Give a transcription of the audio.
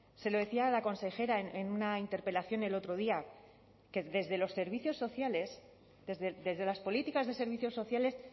se lo decía a la consejera en una interpelación el otro día que desde los servicios sociales desde las políticas de servicios sociales